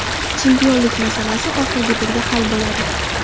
Chempionlik masalasi oxirgi turda hal bo‘ladi.